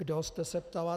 Kdo jste se ptala.